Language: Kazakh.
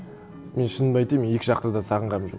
мен шынымды айтайын мен екі жақты да сағынғаным жоқ